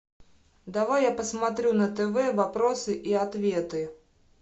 давай я посмотрю на тв вопросы и ответы